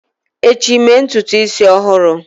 echi, mee ntutu isi ọhụrụ!